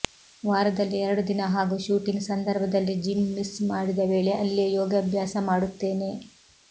ವಾರದಲ್ಲಿ ಎರಡು ದಿನ ಹಾಗೂ ಶೂಟಿಂಗ್ ಸಂದರ್ಭದಲ್ಲಿ ಜಿಮ್ ಮಿಸ್ ಮಾಡಿದ ವೇಳೆ ಅಲ್ಲೇ ಯೋಗಾಭ್ಯಾಸ ಮಾಡುತ್ತೇನೆ